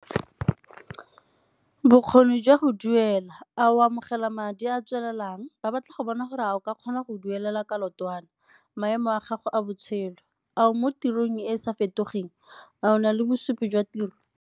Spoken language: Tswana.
Bokgoni jwa go duela, a o amogela madi a tswelelang? Ba batla go bona gore a o ka kgona go duelela kolotwana. Maemo a gago a botshelo, a mo tirong e e sa fetogeng, a o na le bosupi jwa tiro?